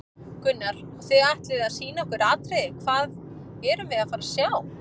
Gunnar: Og þið ætlið að sýna okkur atriði, hvað erum við að fara að sjá?